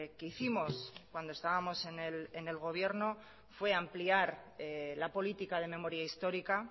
que hicimos cuando estábamos en el gobierno fue ampliar la política de memoria histórica